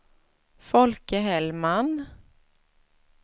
Folke Hellman